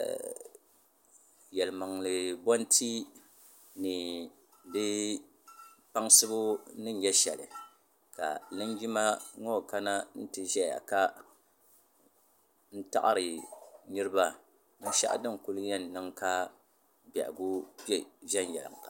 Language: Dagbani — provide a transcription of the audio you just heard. Yilimaŋli boti ni di kpaŋasibu ni nyɛ sheli ka linjima ŋɔ kana n ti ʒɛya ka n taɣari niriba binshaɣu din kuli yen niŋ ka bɛhigu be viɛnyela.